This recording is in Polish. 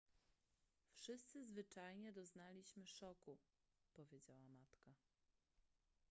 wszyscy zwyczajnie doznaliśmy szoku powiedziała matka